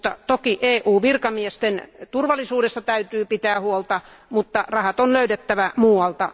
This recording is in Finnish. Toki EU virkamiesten turvallisuudesta täytyy pitää huolta, mutta rahat on löydettävä muualta.